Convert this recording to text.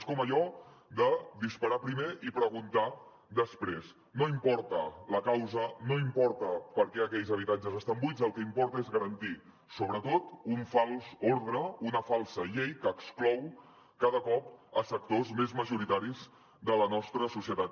és com allò de disparar primer i preguntar després no importa la causa no importa per què aquells habitatges estan buits el que importa és garantir sobretot un fals ordre una falsa llei que exclou cada cop sectors més majoritaris de la nostra societat